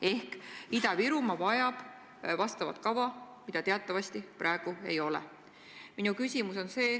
Ehk Ida-Virumaa vajab vastavat kava, mida teatavasti praegu ei ole.